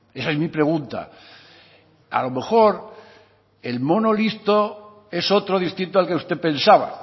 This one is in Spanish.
esa es mi pregunta a lo mejor el mono listo es otro distinto al que usted pensaba